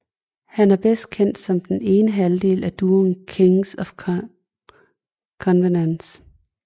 Han er bedst kendt som den ene halvdel af duoen Kings of Convenience